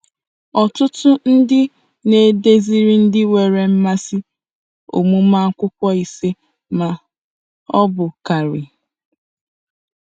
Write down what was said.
Ọtụtụ ndị na-eduziri ndị nwere mmasị ọmụmụ akwụkwọ ise ma ọ bụ karịa.